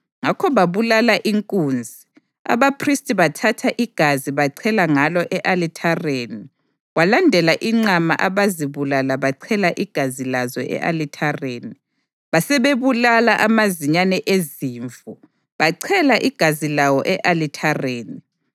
Ngakho babulala inkunzi, abaphristi bathatha igazi bachela ngalo e-alithareni; kwalandela inqama abazibulala bachela igazi lazo e-alithareni; basebebulala amazinyane ezimvu bachela igazi lawo e-alithareni.